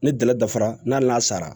Ni dala dafara n'a sara